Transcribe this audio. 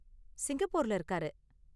சிங்கப்பூர்ல இருக்காரு.